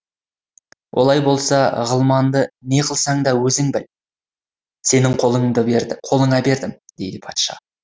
олай болса ғылманды не қылсаң да өзің біл сенің қолыңа бердім дейді патша